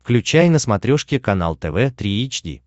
включай на смотрешке канал тв три эйч ди